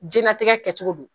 Jɛnatigɛ kɛcogo don